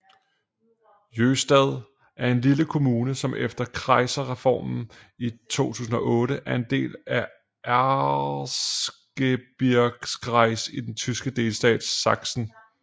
Jöhstadt er en lille kommune som efter Kreisreformen i 2008 er en del af Erzgebirgskreis i den tyske delstat Sachsen